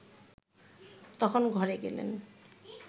তখন ঘরে গেলেন